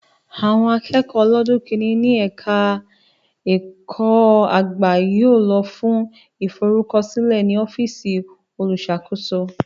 Àwọn akẹ́kọ̀ọ́ ọlọ́dún kìíní ní ẹ̀ka ẹ̀kọ́ ẹ̀kọ́-àgbà yóò lọ fún ìforúkọsílẹ̀ ní ọ́fíìsì olùṣàkóso